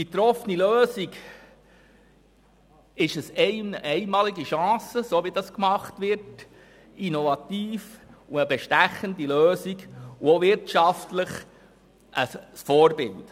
Die getroffene Lösung ist eine einmalige Chance, innovativ und bestechend und auch wirtschaftlich ein Vorbild.